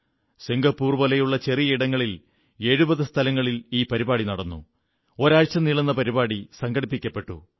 Singapore പോലെയുള്ള ചെറിയ രാജ്യത്ത് 70 സ്ഥലങ്ങളിൽ ഈ പരിപാടി നടന്നു ഒരാഴ്ച നീളുന്ന പരിപാടി സംഘടിപ്പിക്കപ്പെട്ടു